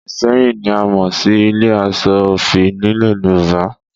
Ìṣẹ́yìn ni a mọ̀ sí ilé aṣọ òfì nílẹ̀ Yorùbá